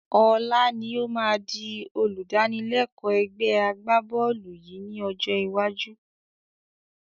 Ọlá ni ó má di olùdánilẹ́kọ̀ ẹgbẹ́ agbá-bọ́ọ́lù yìí ni ọjọ́ iwájú